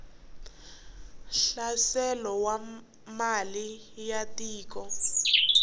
hlaselo wa mali ya tiko